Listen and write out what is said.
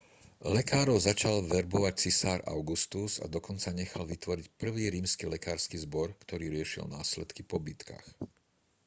lekárov začal verbovať cisár augustus a dokonca nechal vytvoriť prvý rímsky lekársky zbor ktorý riešil následky po bitkách